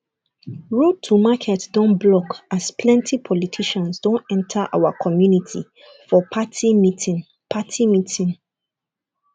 road to market don block as plenty politicians don enter our community for party meeting party meeting